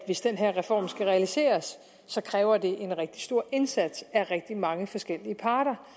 hvis den her reform skal realiseres kræver det en rigtig stor indsats af rigtig mange forskellige parter